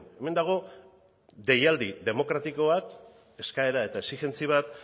hemen dago deialdi demokratiko bat eskaera eta exijentzi bat